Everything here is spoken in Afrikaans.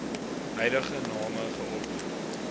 huidige name geopper